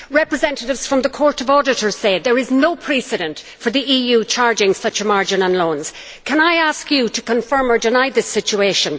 Representatives from the Court of Auditors say that there is no precedent for the EU charging such a margin on loans. Can I ask you to confirm or deny this situation?